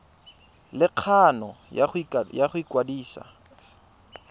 le kgano ya go ikwadisa